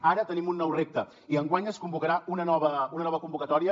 ara tenim un nou repte i enguany es convocarà una nova convocatòria